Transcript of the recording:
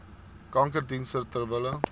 kankerdienste ter wille